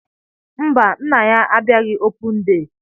Mba, nna ya abiaghi opun dee